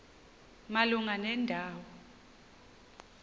malunga nenda wo